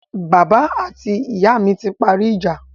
Bàbá mi àti ìyá mi ti parí ìjà